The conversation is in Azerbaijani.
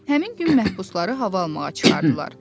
Həmin gün məhbusları hava almağa çıxardılar.